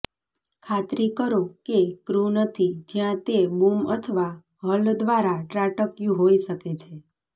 ખાતરી કરો કે ક્રૂ નથી જ્યાં તે બૂમ અથવા હલ દ્વારા ત્રાટક્યું હોઈ શકે છે